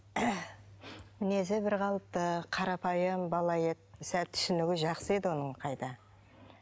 мінезі бірқалыпты қарапайым бала еді сәл түсінігі жақсы еді оның қайта